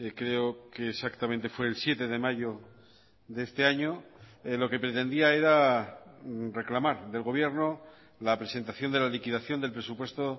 creo que exactamente fue el siete de mayo de este año lo que pretendía era reclamar del gobierno la presentación de la liquidación del presupuesto